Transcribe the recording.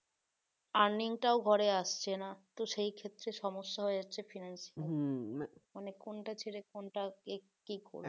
earning টাও ঘরে আসছে না তো সেই ক্ষেত্রে সমস্যা হয়েছে financial মানে কোনটা ছেড়ে কোনটা কোনটা কি করব